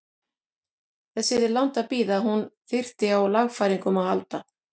Þess yrði langt að bíða að hún þyrfti á lagfæringum að halda.